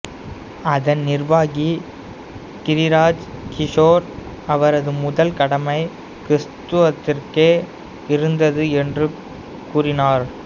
அதன் நிர்வாகி கிரிராஜ் கிஷோர் அவரது முதல் கடமை கிறிஸ்துவத்திற்கே இருந்தது என்றுக் கூறினார்